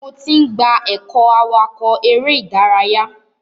Mo ti n gba ẹkọ awakọ eré ìdárayá.